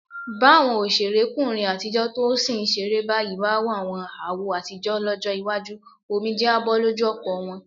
Báwọn òṣèrékùnrin àtijọ́ tó sì ń ṣeré báyìí bá wàwọn àwo àtijọ́ lọ́jọ́ iwájú, omijé á bọ́ lójú ọ̀pọ̀ wọn.